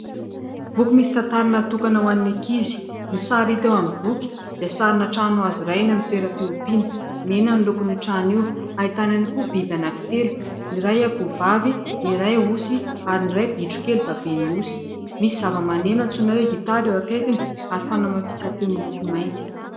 Boky misy tantara natokana ho an'ny ankizy, ny sary hita eo amin'ny boky dia sarina trano hazo iray eny amin'ny toeram-piompiana, mena ny lokon' io trano io , ahitana ihany koa biby anankitelo : ny iray akoho vavy, ny iray osy ary ny iray bitrokely baben'ny osy, misy zavamaneno antsoina hoe : gitara eo akaikiny ary fanamafisam-peo miloko mainty.